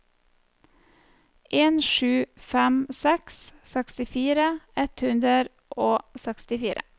en sju fem seks sekstifire ett hundre og sekstifire